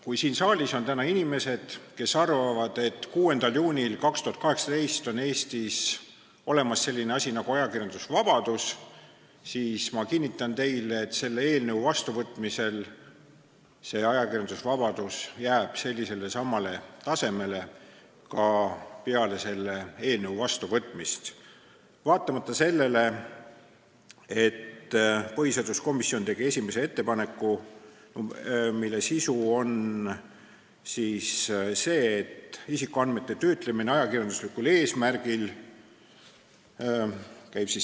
Kui siin saalis on täna inimesi, kes arvavad, et 6. juunil 2018 on Eestis olemas selline asi nagu ajakirjandusvabadus, siis ma kinnitan neile, et see ajakirjandusvabadus jääb samale tasemele ka peale selle eelnõu vastuvõtmist, vaatamata põhiseaduskomisjoni tehtud esimesele ettepanekule, mille sisu on isikuandmete töötlemine ajakirjanduslikul eesmärgil.